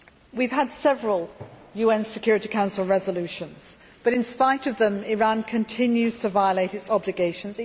We have several UN Security Council resolutions but in spite of them Iran continues to violate its obligations.